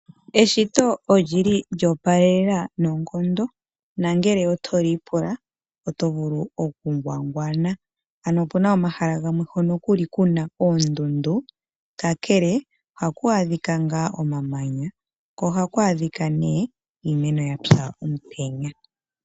Eshito oli li lyo opalelela noongondo. Ngele oto li ipula oto vulu okungwangwana. Opu na omahala gamwe ku na oondundu haku adhika omamanya. Ohaku adhika woo iimeno yapya komutenya.